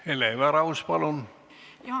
Hele Everaus, palun!